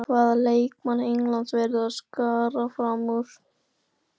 Hvaða leikmann Englands verða að skara fram úr?